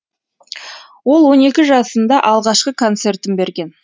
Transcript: ол он екі жасында алғашқы концертін берген